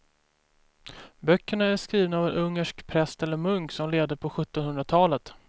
Böckerna är skrivna av en ungersk präst eller munk som levde på sjuttonhundratalet.